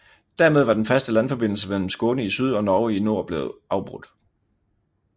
Dermed var den faste landforbindelse mellem Skåne i syd og Norge i nord blevet afbrudt